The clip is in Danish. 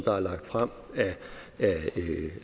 er lagt frem